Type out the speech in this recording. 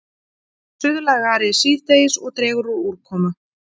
Suðlægari síðdegis og dregur úr úrkomu